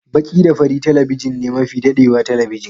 Baki da fari talabijin ne mafi dadewa talabijin.